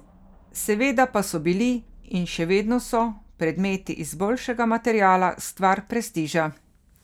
Seveda pa so bili, in še vedno so, predmeti iz boljšega materiala stvar prestiža.